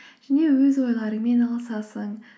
және өз ойларыңмен алысасың